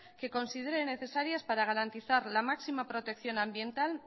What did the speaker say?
que considere necesarias para garantizar la máxima protección ambiental